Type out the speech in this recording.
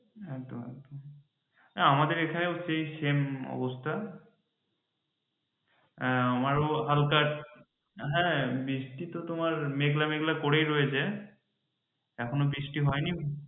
একদম একদম আমাদের এখানেও সেই same অবস্থা হ্যাঁ আমারও হালকা হ্যাঁ বৃষ্টি তো তোমার মেঘলা মেঘলা করেই রয়েছে এখনও বৃষ্টি হয়নি